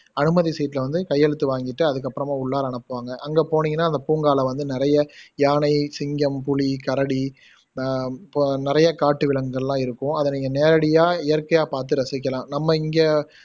அனுமதி சீட்டுல வந்து கையெழுத்து வாங்கிட்டு அதுக்கு அப்பறமா உள்ளார அனுப்புவாங்க அங்க போனிங்கன்னா அங்க பூங்கால வந்து நிறைய யானை, சிங்கம், புலி, கரடி அஹ் இப்போ நிறையா காட்டு விலங்குகள்லாம் இருக்கும் அதை நீங்க நேரடியா இயற்கையா பாத்து ரசிக்கலாம் நம்ம இங்க